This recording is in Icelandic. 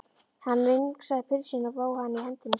Hann vingsaði pylsunni og vóg hana í hendi sér.